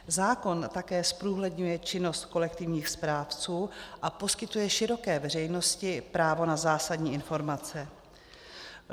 Zákon také zprůhledňuje činnost kolektivních správců a poskytuje široké veřejnosti právo na zásadní informace.